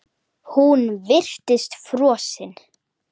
Hún virtist frosin.